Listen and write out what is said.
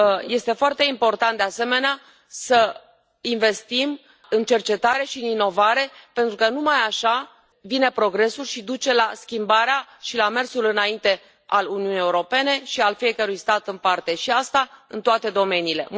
Este foarte important, de asemenea, să investim în cercetare și inovare, pentru că numai așa vine progresul și duce la schimbarea și la mersul înainte al Uniunii Europene și al fiecărui stat în parte, și asta în toate domeniile.